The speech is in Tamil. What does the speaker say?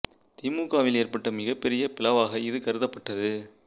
தி மு க வில் ஏற்பட்ட மிகப் பெரிய பிளவாக இது கருதப்பட்டது